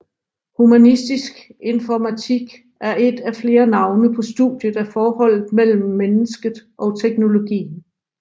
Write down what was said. Humanistisk informatik er et af flere navne på studiet af forholdet mellem mennesket og teknologien